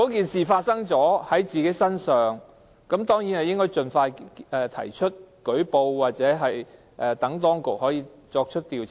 事情發生後，受害人當然應該盡快舉報，讓當局作出調查。